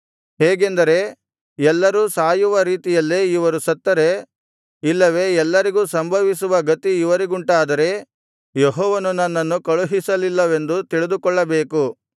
ಹೇಗೆಂದರೆ ಎಲ್ಲರೂ ಸಾಯುವ ರೀತಿಯಲ್ಲೇ ಇವರು ಸತ್ತರೆ ಇಲ್ಲವೆ ಎಲ್ಲರಿಗೂ ಸಂಭವಿಸುವ ಗತಿ ಇವರಿಗುಂಟಾದರೆ ಯೆಹೋವನು ನನ್ನನ್ನು ಕಳುಹಿಸಲಿಲ್ಲವೆಂದು ತಿಳಿದುಕೊಳ್ಳಬೇಕು